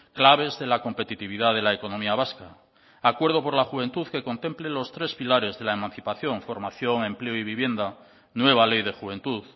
claves de la competitividad de la economía vasca acuerdo por la juventud que contemple los tres pilares de la emancipación formación empleo y vivienda nueva ley de juventud